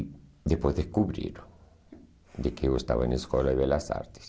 E depois descobriram de que eu estava na escola de belas artes.